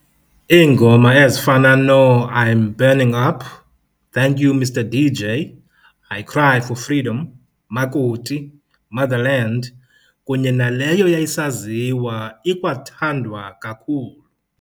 Iingoma ezifana noo"I'm Burning Up", "thank you mister dj", "I Cry for Freedom", "Makoti", "Motherland" kunye naleyo yayisaziwa ikwathandwa kakhulu